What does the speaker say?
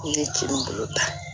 I ye kin bolo ta